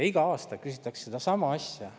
Igal aastal küsitakse sedasama asja.